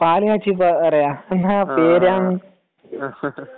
പാലുകാച്ചി പാറയോ . എന്താ പേര് അങ്ങന ഹ ഹ ഹ